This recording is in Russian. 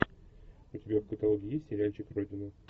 у тебя в каталоге есть сериальчик родина